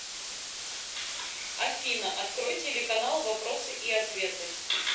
афина открой телеканал вопросы и ответы